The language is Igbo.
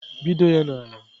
Pịdo ya n'ala!